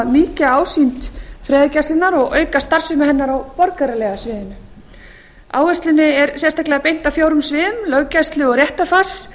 mýkja ásýnd friðargæsluna og auka starfsemi hennar á borgaralega sviðinu áherslunni er sérstaklega beint að fjórum sviðum löggæslu og réttarfars